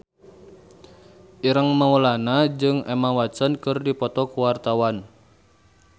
Ireng Maulana jeung Emma Watson keur dipoto ku wartawan